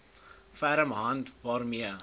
ferm hand waarmee